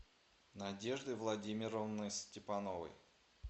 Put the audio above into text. надеждой владимировной степановой